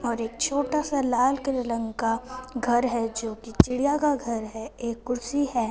और एक छोटा सा लाल कल रंग का घर है जोकि चिड़िया का घर है एक कुर्सी है।